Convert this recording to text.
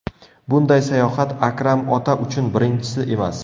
Bunday sayohat Akram ota uchun birinchisi emas.